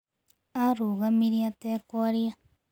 Arũgamire atekwaria.